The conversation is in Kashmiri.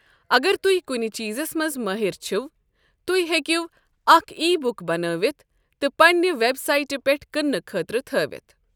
اگر تہۍ کُنہ چیٖزس منٛز مٲہر چھوٕ، تہۍ ہیٚکِو اکھ ای بُک بنٲوتھ تہٕ پنٛنہِ وٮ۪ب سایٹہِ پٮ۪ٹھ کٕنٛنہٕ خٲطرٕ تھٲوتھ ۔